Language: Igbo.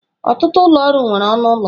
Ọtụtụ ụlọ ọrụ nwere ọnụ ụlọ.